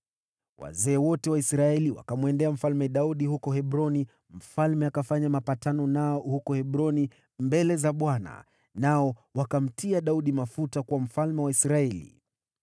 Wazee wote wa Israeli wakamwendea Mfalme Daudi huko Hebroni, mfalme akafanya mapatano nao huko Hebroni mbele za Bwana , nao wakamtia Daudi mafuta kuwa mfalme wa Israeli.